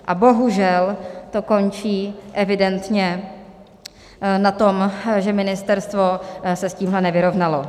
A bohužel to končí evidentně na tom, že ministerstvo se s tímhle nevyrovnalo.